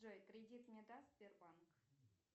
джой кредит мне даст сбербанк